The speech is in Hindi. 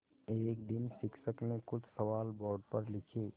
एक दिन शिक्षक ने कुछ सवाल बोर्ड पर लिखे